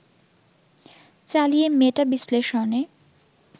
চালিয়ে মেটা-বিশ্লেষণে